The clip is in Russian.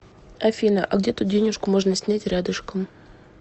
афина а где тут денежку можно снять рядышком